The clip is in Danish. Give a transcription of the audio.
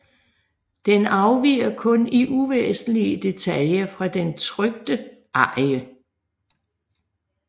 Den afviger kun i uvæsentlige detaljer fra den trykte arie